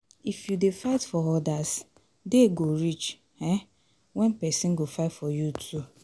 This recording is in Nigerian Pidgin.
If you dey fight for odas, day go reach um when pesin go fight for you too